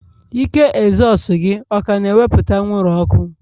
Ike ezosu gị ọ ka na-ewepụta anwụrụ ọkụ?